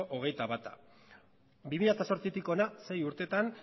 hogeita bat bi mila zortzitik hona sei urtetan